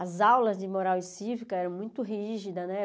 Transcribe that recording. As aulas de moral e cívica eram muito rígidas, né?